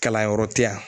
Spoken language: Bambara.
Kalanyɔrɔ tɛ yan